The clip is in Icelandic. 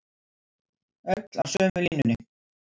Öll á sömu línunni